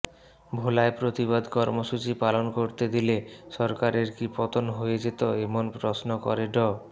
ভোলায় প্রতিবাদ কর্মসূচি পালন করতে দিলে সরকারের কি পতন হয়ে যেত এমন প্রশ্ন করে ড